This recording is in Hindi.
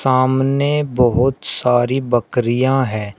सामने बहुत सारी बकरियां हैं।